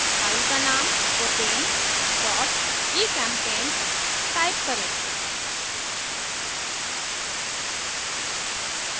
file का name propane gchempaint type करें